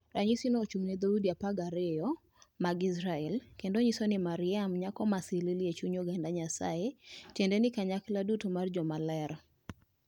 Ranyisino ochung'ne dhoudi 12 mag Israel kendo onyiso ni Mariam Nyako ma Silili e chuny oganda Nyasaye, tiende ni kanyakla duto mar joma ler.